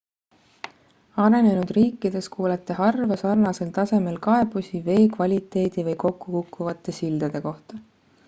arenenud riikides kuulete harva sarnasel tasemel kaebusi vee kvaliteedi või kokkukukkuvate sildade kohta